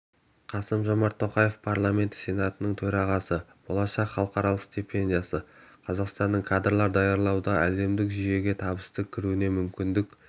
қасым-жомарт тоқаев парламенті сенатының төрағасы болашақ халықаралық стипендиясы қазақстанның кадрлар даярлауда әлемдік жүйеге табысты кірігуіне мүмкіндік